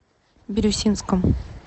бирюсинском